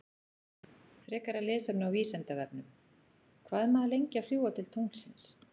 Frekara lesefni á Vísindavefnum: Hvað er maður lengi að fljúga til tunglsins?